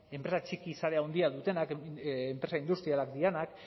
enpresa sare handia dutenak enpresa industrialak direnak